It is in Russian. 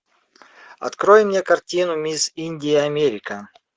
открой мне картину мисс индия америка